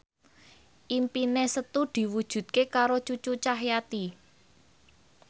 impine Setu diwujudke karo Cucu Cahyati